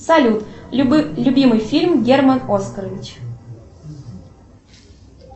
салют любимый фильм герман оскарович